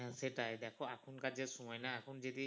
হম সেটাই দেখো এখনকার যে সময় না এখন যদি